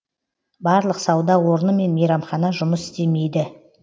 барлық сауда орны мен мейрамхана жұмыс істемейді